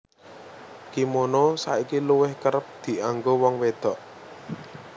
Kimono saiki luwih kerep dianggo wong wédok